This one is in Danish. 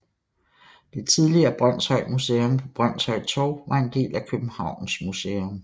Det tidligere Brønshøj Museum på Brønshøj Torv var en del af Københavns Museum